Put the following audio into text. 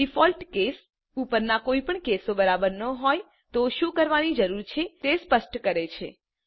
default case ઉપરના કોઈ પણ કેસો બરાબર ન હોય તો શું કરવાની જરૂર છે તે સ્પષ્ટ કરે છે